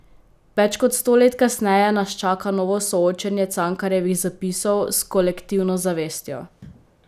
Več kot sto let kasneje nas čaka novo soočenje Cankarjevih zapisov s kolektivno zavestjo.